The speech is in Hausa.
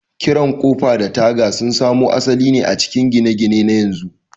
ƙirar Ƙofa da taga sun samo asali a cikin gine-gine na yanzu.